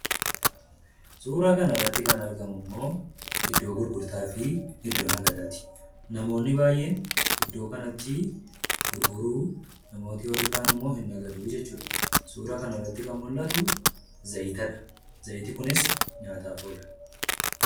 Suura kana irratti kan argamu immoo iddoo gurgurtaa fi iddoo nagadaati. Namoonni baay'een iddoo kanatti gurguru, namoonni kaanimmoo ni nagaduu jechuudha. Suura kana irratti kan mul'atu zayitadha. Zayitni Kunis nyaataaf oola.